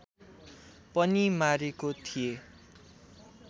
पनि मारेको थिए